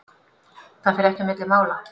Það fer ekki á milli mála.